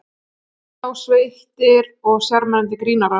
Hvað þá sveittir og sjarmerandi grínarar.